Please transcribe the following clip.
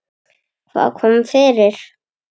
Hvað kom fyrir?